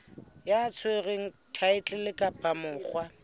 ya tshwereng thaetlele kapa monga